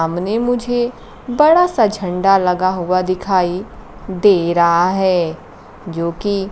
सामने मुझे बड़ा सा झंडा लगा हुआ दिखाई दे रहा है जोकी --